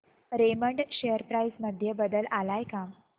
Raymond share price मध्ये बदल आलाय का